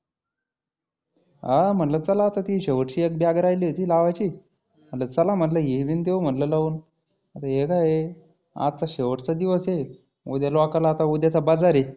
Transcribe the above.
हा म्हटलं चला आता ती शेवटची एक bag राहिली होती लावायची. म्हटलं चला हीबी देऊ लावून. आता हे काय आहे आजचा शेवटचा दिवस आहे. उद्या लोकाला आता उद्याचा बजार हे.